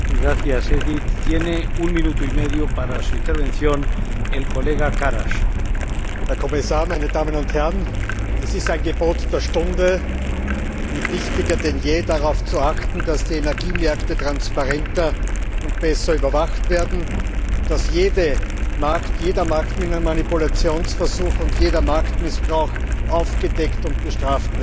Herr Präsident, Herr Kommissar, meine Damen und Herren! Es ist ein Gebot der Stunde und wichtiger denn je, darauf zu achten, dass die Energiemärkte transparenter und besser überwacht werden und dass jeder Marktmanipulationsversuch und jeder Marktmissbrauch aufgedeckt und bestraft wird.